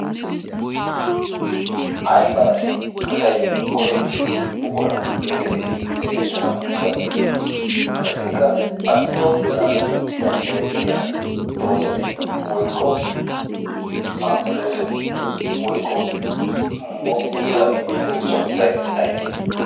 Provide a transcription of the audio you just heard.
aybaassi asay go'ettiyo buqura geetettidi xeeqettanawu danddayettii qassikka a giddon daanawu danddayettiya doozati woykko maammedoosati woykko muruta immiyaageetu sunttay aybee